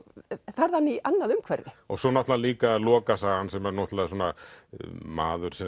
færðan í annað umhverfi svo náttúrulega líka lokasagan sem er náttúrulega maður sem